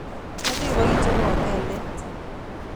Omoche kibokicherwon ngeldet